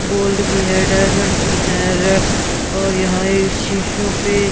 gold की है diamond की है और यहां ये शीशों पे--